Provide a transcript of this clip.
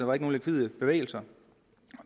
var nogen likvide bevægelser